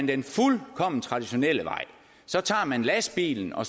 den fuldkommen traditionelle vej så tager man lastbilen og